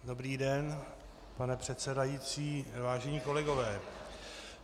Dobrý den, pane předsedající, vážení kolegové.